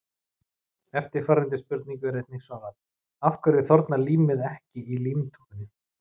Eftirfarandi spurningu var einnig svarað: Af hverju þornar límið ekki í límtúpunni?